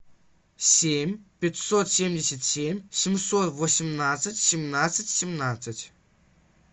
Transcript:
семь пятьсот семьдесят семь семьсот восемнадцать семнадцать семнадцать